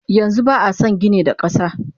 Yanxu ba ason gini da kasa.